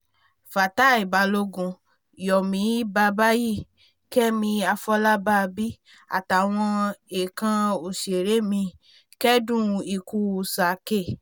fatia balogun yomi babbayì kẹ́mi àfọlábàbí àtàwọn ẹ̀ẹ̀kan òṣèré míì kẹ́dùn ikú sir kay